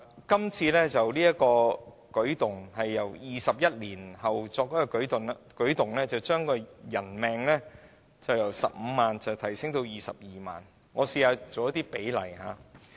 這次修訂距離上一次修訂已有21年時間，把人命的價值由15萬元提升至22萬元。